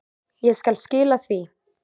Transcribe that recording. Ég skal skila því.